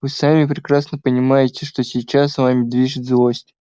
вы сами прекрасно понимаете что сейчас вами движет злость